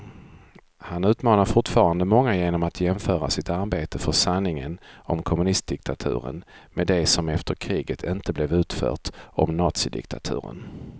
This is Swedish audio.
Han utmanar fortfarande många genom att jämföra sitt arbete för sanningen om kommunistdiktaturen med det som efter kriget inte blev utfört om nazidiktaturen.